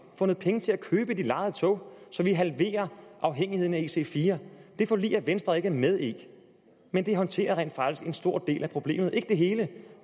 fundet penge til at købe de lejede tog så vi halverer afhængigheden af ic4 det forlig er venstre ikke med i men det håndterer rent faktisk en stor del af problemet dog ikke det hele og